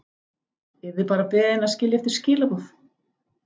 Yrði bara beðin að skilja eftir skilaboð.